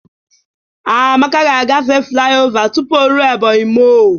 Amaka ga-agafe flai ova tụpụ o rue Ebonyi mọl.